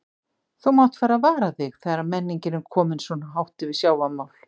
Þú mátt fara að vara þig þegar menningin er komin svona hátt yfir sjávarmál.